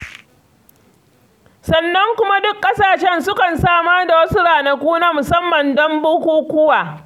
Sannan kuma duk ƙasashen sukan samar da wasu ranaku na musamman don bukukuwa.